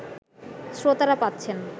শ্রোতারা পাচ্ছেন